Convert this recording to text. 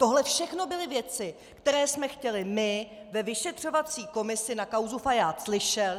Tohle všechno byly věci, které jsme chtěli my ve vyšetřovací komisi na kauzu Fajád slyšet.